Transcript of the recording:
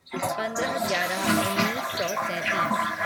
पंद्र्ह ग्यारह उन्नीस सौ सैंतीस